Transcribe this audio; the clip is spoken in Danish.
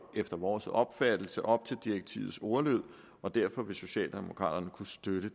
efter vores opfattelse op til direktivets ordlyd og derfor vil socialdemokraterne kunne støtte